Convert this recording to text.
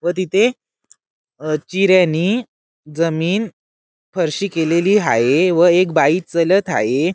व तिथे अह चिऱ्यानी जमीन फरशी केलेली हाये व एक बाई चलत हाये.